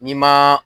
N'i ma